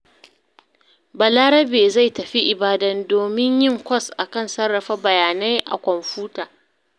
Balarabe zai tafi Ibadan domin yi kwas a kan sarrafa bayanai a kwamfuta.